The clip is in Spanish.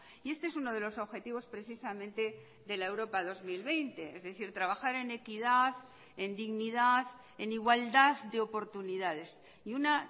y este es uno de los objetivos precisamente de la europa dos mil veinte es decir trabajar en equidad en dignidad en igualdad de oportunidades y una